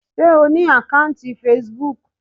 Sé O ní àkọ́ùntì Facebook.